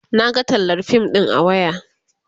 Naga tallar fim ɗin a waya